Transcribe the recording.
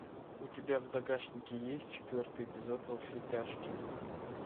у тебя в загашнике есть четвертый эпизод во все тяжкие